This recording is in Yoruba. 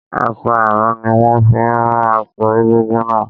Aṣọ àrán ni wón fi rán aṣọ egúngún náà.